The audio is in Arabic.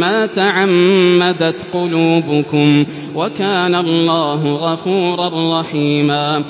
مَّا تَعَمَّدَتْ قُلُوبُكُمْ ۚ وَكَانَ اللَّهُ غَفُورًا رَّحِيمًا